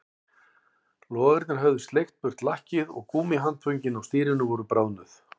Logarnir höfðu sleikt burt lakkið og gúmmíhandföngin á stýrinu voru bráðnuð